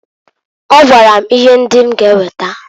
Ọ gwara m ihe ndị m ga eweta.